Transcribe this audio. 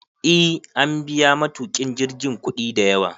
E, an biya matukin jirgin kudi da yawa